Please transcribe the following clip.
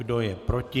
Kdo je proti?